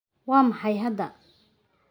Waa maxay hadda?